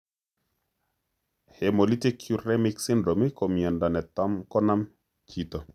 Hemolytic uremic syndrome ko myondo netam konom chito